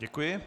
Děkuji.